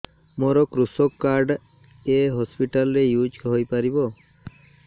ମୋର କୃଷକ କାର୍ଡ ଏ ହସପିଟାଲ ରେ ୟୁଜ଼ ହୋଇପାରିବ